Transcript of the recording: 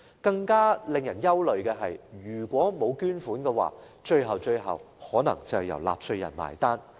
更令人憂慮的是，如果沒有捐款，最後可能要由納稅人"埋單"。